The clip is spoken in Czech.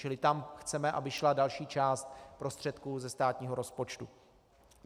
Čili tam chceme, aby šla další část prostředků ze státního rozpočtu.